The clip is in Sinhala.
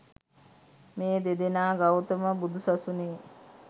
මේ දෙදෙනා ගෞතම බුදුසසුනේ